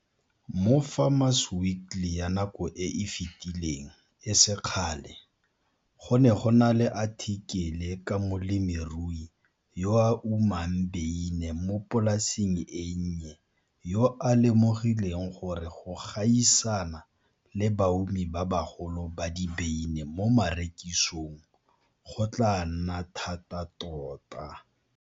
Mo Farmer's Weekly ya nako e e fetileng e se kgale, go ne go na le athikele ka molemirui yo a umang beine mo polaseng e nnye yo a lemogileng gore go gaisana le baumi ba bagolo ba dibeine mo marekisong go tlaa nna thata tota.